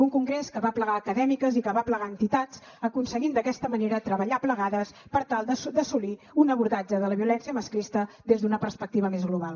un congrés que va aplegar acadèmiques i que va aplegar entitats aconseguint d’aquesta manera treballar plegades per tal d’assolir un abordatge de la violència masclista des d’una perspectiva més global